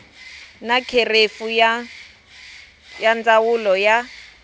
na kherefu ya ndzawulo ya